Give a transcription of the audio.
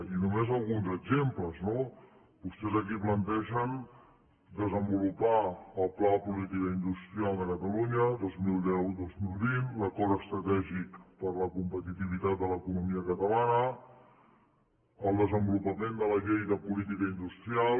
i només alguns exemples no vostès aquí plantegen desenvolupar el pla de política industrial de catalunya dos mil deu dos mil vint l’acord estratègic per a la competitivitat de l’economia catalana el desenvolupament de la llei de política industrial